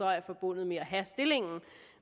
er forbundet med at have stillingen